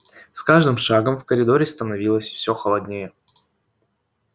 с каждым шагом в коридоре становилось все холоднее